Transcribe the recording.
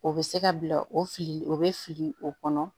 O bɛ se ka bila o fili o bɛ fili o kɔnɔ